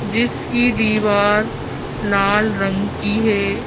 जिसकी दीवार लाल रंग की है।